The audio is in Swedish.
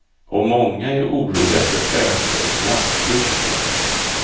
Och många är oroliga för ökade klassklyftor.